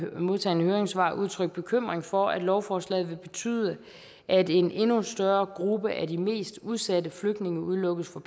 modtagne høringssvar udtrykt bekymring for at lovforslaget vil betyde at en endnu større gruppe af de mest udsatte flygtninge udelukkes fra